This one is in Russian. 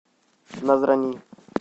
назрани